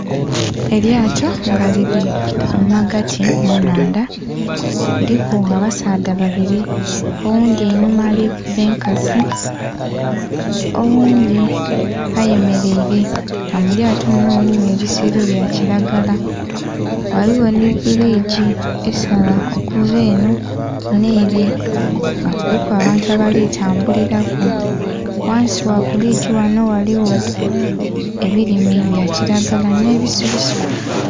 Elyaato nga liri mumagati munhandha kuliku abasadha babiri owundhi einhuma ari kukuba enkasi owundhi ayemeleire nga mulyaato lino mulimu ebisero byakilagara ghaliwo nhi bridge esala okuva enho nheere nga kuliku abantu abali kutambuliraku ghansi gha bridge ghano ghaliwo ebilime byakilagara n'ebisubisubi.